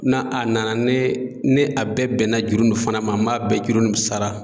N'a a nana ni ni a bɛɛ bɛnna juru nin fana ma, n m'a bɛɛ juru nin sara